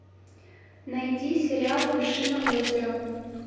найди сериал вершина озера